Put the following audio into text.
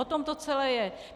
O tom to celé je.